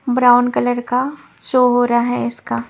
Brown colour का show हो रहा है इसका।